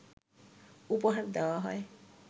উপহার দেয়া হয়